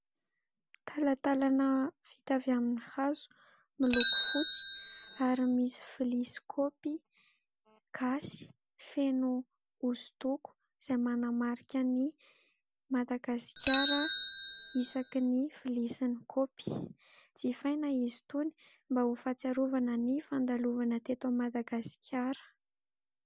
Talatanana vita avy amin'ny hazo miloko fotsy ary misy lovia sy kaopy gasy feno osodoko izay manamarika ny Madagasikara isaky ny lovia sy ny kaopy jifaina izy itony mba ho fahatsiarovana ny fandalovana teto Madagaskara.